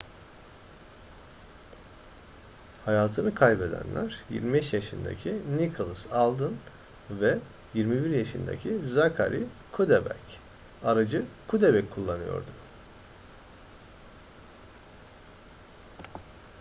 hayatını kaybedenler 25 yaşındaki nicholas alden ve 21 yaşındaki zachary cuddeback aracı cuddeback kullanıyordu